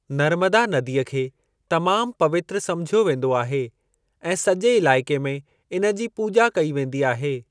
नर्मदा नदीअ खे तमाम पवित्र समिझियो वेंदो आहे ऐं सॼे इलाइके में इन जी पूॼा कई वेंदी आहे।